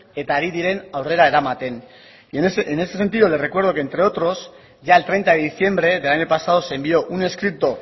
eta ari diren aurrera eramaten y en ese sentido le recuerdo que entre otros ya el treinta de diciembre del año pasado se envió un escrito